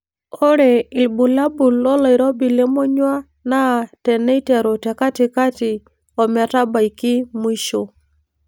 Ore ibulabul loloirobi lemonyua naa teiteru te katikati ometabaiki mwisho.